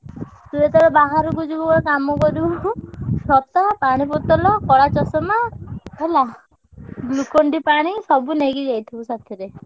ତୁ ଯେତବେଳେ ବାହାରକୁ ଯିବୁ ଗୋଟେ କାମ କରିବୁ ଛତା ପାଣି ବୋତଲ, କଳା ଚଷମା ହେଲା Glucon-D ପାଣି ସବୁ ନେଇକି ଯାଇଥିବୁ ସାଥିରେ।